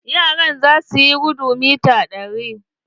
Yaran za suyi gudun mita ɗari.